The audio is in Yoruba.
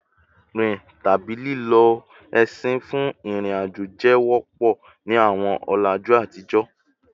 Rin tabi lilo ẹṣin fun irin-ajo jẹ wọpọ ni awọn ọlaju atijọ